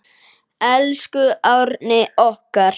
Elsku Árni okkar.